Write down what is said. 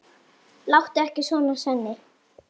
Láttu ekki svona, Svenni.